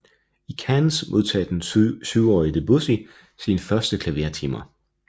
I Cannes modtog den syvårige Debussy sine første klavertimer